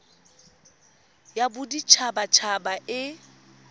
ya bodit habat haba e